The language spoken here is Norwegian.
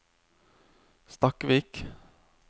Stakkvik